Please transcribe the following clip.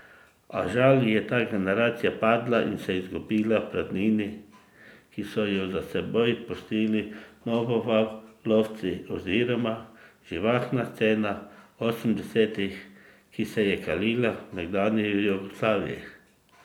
A žal je ta generacija padla in se izgubila v praznini, ki so jo za seboj pustil novovalovci oziroma živahna scena osemdesetih, ki se je kalila v nekdanji Jugoslaviji.